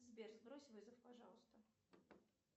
сбер сбрось вызов пожалуйста